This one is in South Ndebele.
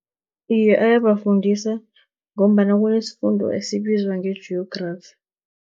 Iye, ayabafundisa ngombana kunesifundo esibizwa nge-Geography.